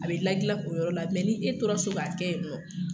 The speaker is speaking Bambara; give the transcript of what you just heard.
A bɛ gilan gilan o yɔrɔ la ni e tora so k'a kɛ yen nɔ